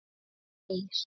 Heyr!